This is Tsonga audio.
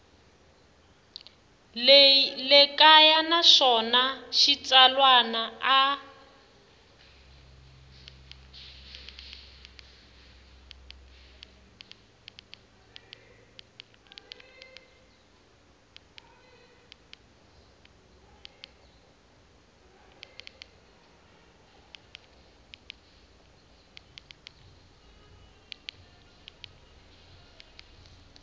le kaya naswona xitsalwana a